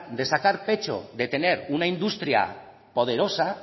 de sacar pecho de tener una industria poderosa